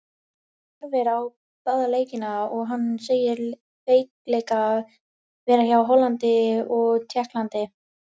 Kristján horfði á báða leikina og hann segir veikleika vera hjá Hollandi og Tékklandi.